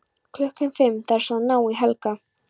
Klukkan fimm þarf svo að ná í Helga.